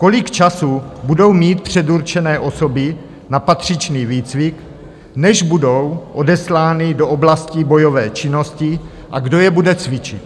Kolik času budou mít předurčené osoby na patřičný výcvik, než budou odeslány do oblastí bojové činnosti, a kdo je bude cvičit?